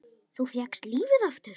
Þú fékkst lífið aftur.